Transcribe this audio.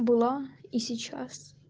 была и сейчас